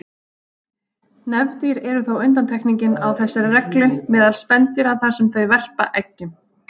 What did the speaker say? Nefdýr eru þó undantekningin á þessari reglu meðal spendýra þar sem þau verpa eggjum.